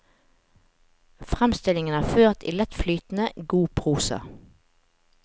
Fremstillingen er ført i lettflytende, god prosa.